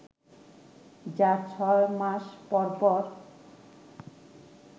যা ছয় মাস পরপর